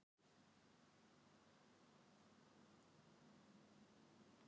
Af hverju má ekki hjálpa fólki að flytja hingað til baka?